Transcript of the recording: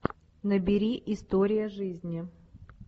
набери история жизни